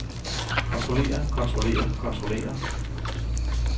kontrollerer kontrollerer kontrollerer